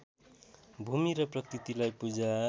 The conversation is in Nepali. भूमि र प्रकृतिलाई पूजा